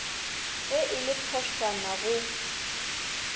ge e le phošwana go